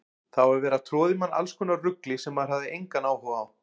Það var verið að troða í mann allskonar rugli sem maður hafði engan áhuga á.